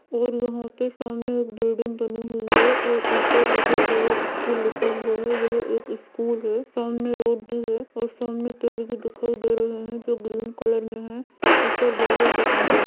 और यहाँ पे सामने एक बिल्डिंग बनी हुई है और ऊपर लिटिल चेयर स्कूल लिखा हुआ है वह एक स्कूल है सामने रोड भी है और सामने पेड़ भी दिखाई दे रहे हैं जो ग्रीन कलर में हैं ऊपर बादल दिख रहे हैं।